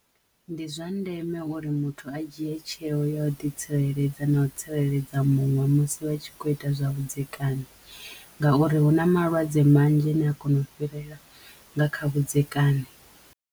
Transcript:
Ndi zwa ndeme uri muthu a dzhie tsheo ya u ḓi tsireledza na u tsireledza muṅwe musi vhatshi kho ita zwa vhudzekani ngauri hu na malwadze manzhi ane a kono u fhirela nga kha vhudzekani.